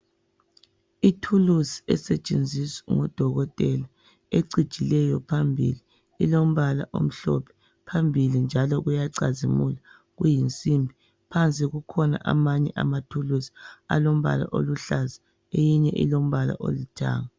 Ithuluzi esetshenziswa ngodokotela ecijileyo phambili, ilombala omhlophe phambili njalo uyacazimula kuyinsimbi. Phansi kukhona amanye amathuluzi alombala oluhlaza eyinye ilombala olithanga.